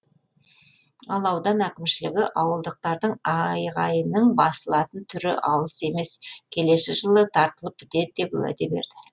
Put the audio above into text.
ал аудан әкімшілігі ауылдықтардың айғайының басылатын түрі алыс емес келесі жылы тартылып бітеді деп уәде берді